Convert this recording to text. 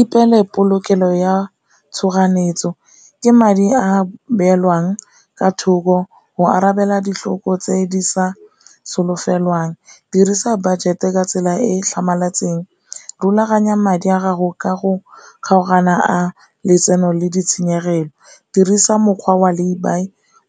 Ipeele polokelo ya tshoganyetso ke madi a beolwang ka thoko go arabela ditlhoko tse di sa solofelwang, dirisa budget e ka tsela e e tlhamaletseng, rulaganya madi a gago ka go kgaogana a letseno le ditshenyegelo, dirisa mokgwa wa laybuy